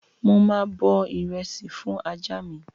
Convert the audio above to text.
Mo máa bọ ìrẹsì fún ajá mi